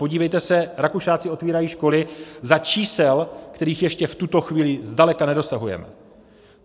Podívejte se, Rakušáci otvírají školy za čísel, kterých ještě v tuto chvíli zdaleka nedosahujeme.